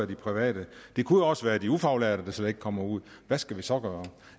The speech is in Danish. de private det kunne også være de ufaglærte der slet ikke kommer ud og hvad skal vi så gøre